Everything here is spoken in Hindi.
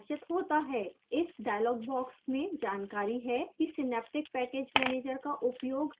इस dialog box में जानकारी है कि synaptic package manager का उपयोग कैसे करें